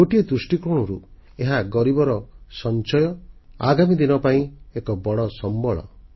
ଗୋଟିଏ ଦୃଷ୍ଟିକୋଣରୁ ଏହା ଗରିବର ସଞ୍ଚୟ ଆଗାମୀ ଦିନ ପାଇଁ ଏକ ବଡ଼ ସମ୍ବଳ